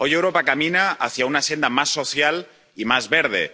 Hoy Europa camina hacia una senda más social y más verde.